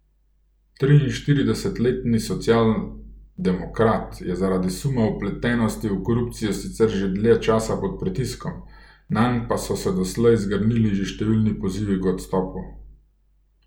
Triinštiridesetletni socialdemokrat je zaradi suma vpletenosti v korupcijo sicer že dlje časa pod pritiskom, nanj pa so se doslej zgrnili že številni pozivi k odstopu.